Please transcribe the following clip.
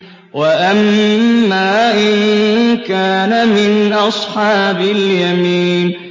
وَأَمَّا إِن كَانَ مِنْ أَصْحَابِ الْيَمِينِ